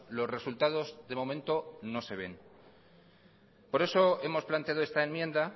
los resultados de momento no se ven por eso hemos planteado esta enmienda